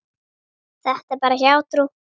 Þetta er bara hjátrú.